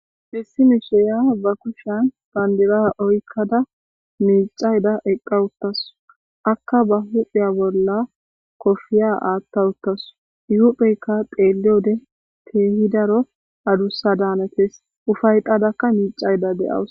Issi mishirya ba kushani bandira oykda micayda eqa utasu, aka ba huphiya bolla kopiya atha utasu, I hupheyka xeeliyode Keehi daro adusa danotesi, ufayetadaka micayda de'awus.